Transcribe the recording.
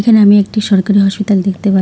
এখানে আমি একটি সরকারি হসপিতাল দেখতে পা--